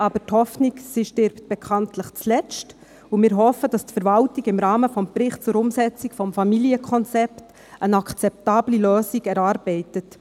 Aber die Hoffnung stirbt bekanntlich zuletzt, und wir hoffen, dass die Verwaltung im Rahmen des Berichts zur Umsetzung des Familienkonzepts eine akzeptable Lösung erarbeitet.